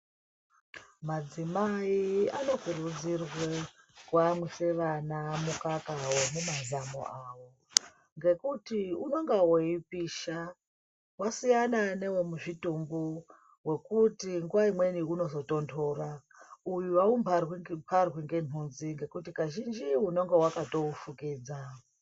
Madzimai ano kurudzirwa kuyamwisa vana nemazamo avo ngekuti unenge weipisha wasiyana newemuzvitumbu wekuti nguwa imweni uno zotondora uyu haumbarwi mbarwi ngenhunzi ngekuti kazhinji unenge wakaufukidza.